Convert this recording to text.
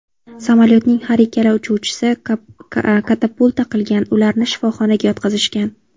Samolyotning har ikkala uchuvchisi katapulta qilgan, ularni shifoxonaga yotqizishgan.